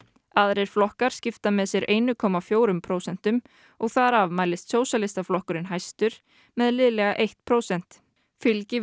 aðrir flokkar skipta með sér einu komma fjórum prósentum og þar af mælist Sósíalistaflokkurinn hæstur með liðlega eitt prósent fylgi við